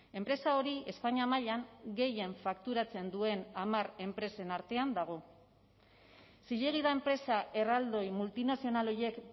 enpresa hori espainia mailan gehien fakturatzen duen hamar enpresen artean dago zilegi da enpresa erraldoi multinazional horiek